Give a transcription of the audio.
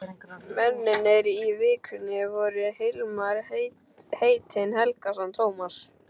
Mennirnir í Vikunni voru Hilmar heitinn Helgason, Tómas